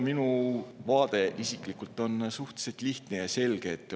Minu vaade on suhteliselt lihtne ja selge.